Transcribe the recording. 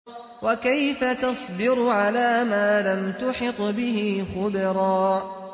وَكَيْفَ تَصْبِرُ عَلَىٰ مَا لَمْ تُحِطْ بِهِ خُبْرًا